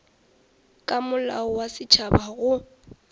ka molao wa setšhaba go